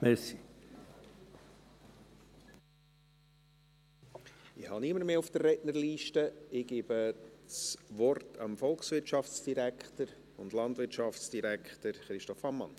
Ich habe niemanden mehr auf der Rednerliste und gebe das Wort dem Volkswirtschafts- und Landwirtschaftsdirektor Christoph Ammann.